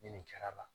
Ni nin kɛra